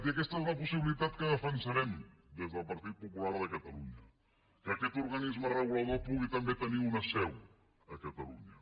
i aquesta és la possibilitat que defensarem des del partit popular de catalunya que aquest organisme regulador pugui també tenir una seu a catalunya